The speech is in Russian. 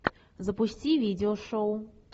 запусти видео шоу